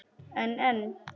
En en.